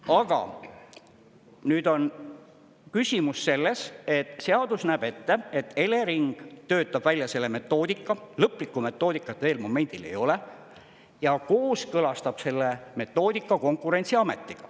Aga nüüd on küsimus selles, et seadus näeb ette, et Elering töötab välja selle metoodika, lõplikku metoodikat veel momendil ei ole, ja kooskõlastab selle metoodika Konkurentsiametiga.